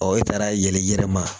e taara yɛl'i yɛrɛ ma